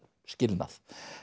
skilnað